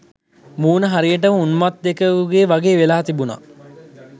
මූණ හරියටම උන්මත්තකයෙකුගෙ වගේ වෙලා තිබුන.